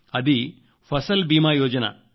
అది ఫసల్ బీమా యోజన